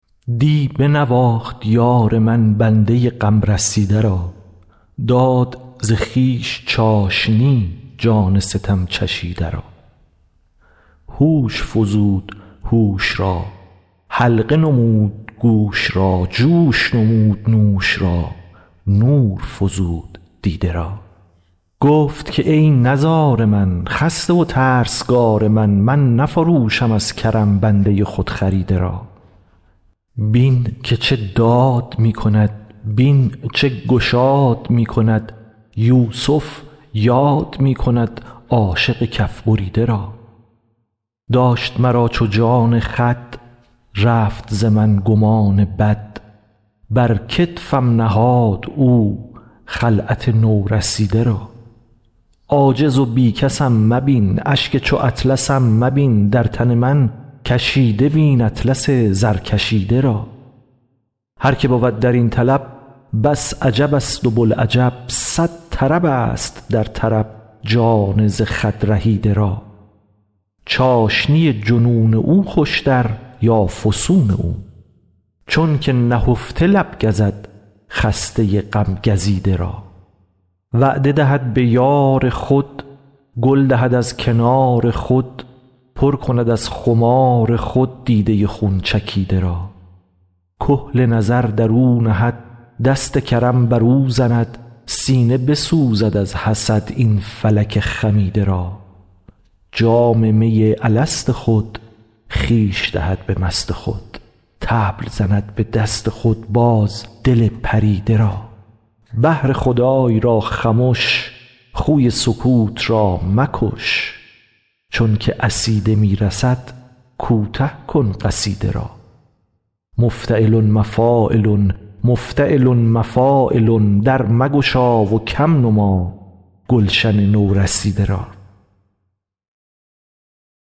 دی بنواخت یار من بنده غم رسیده را داد ز خویش چاشنی جان ستم چشیده را هوش فزود هوش را حلقه نمود گوش را جوش نمود نوش را نور فزود دیده را گفت که ای نزار من خسته و ترسگار من من نفروشم از کرم بنده خودخریده را بین که چه داد می کند بین چه گشاد می کند یوسف یاد می کند عاشق کف بریده را داشت مرا چو جان خود رفت ز من گمان بد بر کتفم نهاد او خلعت نورسیده را عاجز و بی کسم مبین اشک چو اطلسم مبین در تن من کشیده بین اطلس زرکشیده را هر که بود در این طلب بس عجبست و بوالعجب صد طربست در طرب جان ز خود رهیده را چاشنی جنون او خوشتر یا فسون او چونک نهفته لب گزد خسته غم گزیده را وعده دهد به یار خود گل دهد از کنار خود پر کند از خمار خود دیده خون چکیده را کحل نظر در او نهد دست کرم بر او زند سینه بسوزد از حسد این فلک خمیده را جام می الست خود خویش دهد به مست خود طبل زند به دست خود باز دل پریده را بهر خدای را خمش خوی سکوت را مکش چون که عصیده می رسد کوته کن قصیده را مفتعلن مفاعلن مفتعلن مفاعلن در مگشا و کم نما گلشن نورسیده را